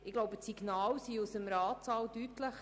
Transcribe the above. Ich glaube, die Signale aus dem Grossen Rat sind deutlich.